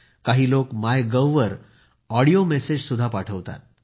काही लोक मायगव्हवर ऑडिओ मेसेज ही पाठवत असतात